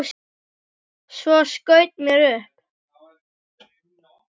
Svo skaut mér upp.